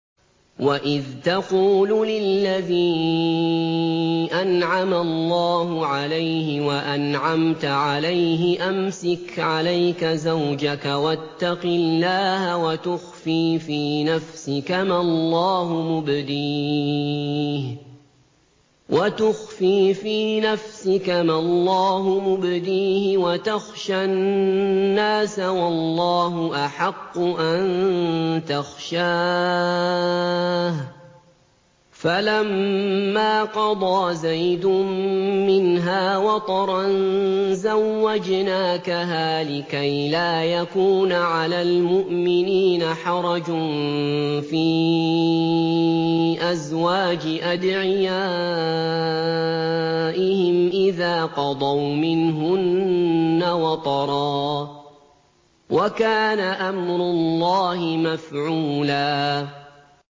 وَإِذْ تَقُولُ لِلَّذِي أَنْعَمَ اللَّهُ عَلَيْهِ وَأَنْعَمْتَ عَلَيْهِ أَمْسِكْ عَلَيْكَ زَوْجَكَ وَاتَّقِ اللَّهَ وَتُخْفِي فِي نَفْسِكَ مَا اللَّهُ مُبْدِيهِ وَتَخْشَى النَّاسَ وَاللَّهُ أَحَقُّ أَن تَخْشَاهُ ۖ فَلَمَّا قَضَىٰ زَيْدٌ مِّنْهَا وَطَرًا زَوَّجْنَاكَهَا لِكَيْ لَا يَكُونَ عَلَى الْمُؤْمِنِينَ حَرَجٌ فِي أَزْوَاجِ أَدْعِيَائِهِمْ إِذَا قَضَوْا مِنْهُنَّ وَطَرًا ۚ وَكَانَ أَمْرُ اللَّهِ مَفْعُولًا